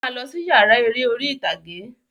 Máa lọ sí yàrá eré orí ìtàgé!